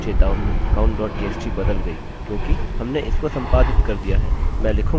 आह! चेतावनी counttxt बदल गई हैक्योंकि हमने इसको संपादित कर दिया है